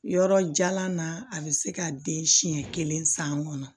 Yɔrɔ jalan na a bɛ se ka den siɲɛ kelen san kɔnɔ